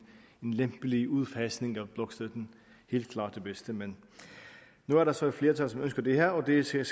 lempelig udfasning af blokstøtten helt klart det bedste men nu er der så et flertal som ønsker det her og det skal